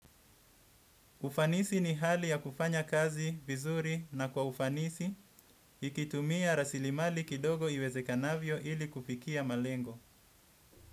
Ufanisi ni hali ya kufanya kazi, vizuri na kwa ufanisi, nikitumia rasilimali kidogo iwezekanavyo ili kufikia malengo.